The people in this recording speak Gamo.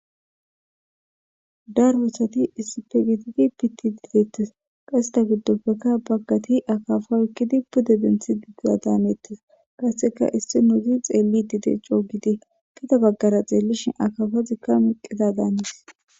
darbosati issipegitidi piti dideettes qasseta giddoppekka baggati akafo ekkidi pude denthi uggiadaamettes qasseka issi nouti xeelli dide coogidi kida baggara xeellishin akafa zikka miqqita daanis